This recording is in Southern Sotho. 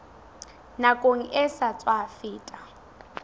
nakong e sa tswa feta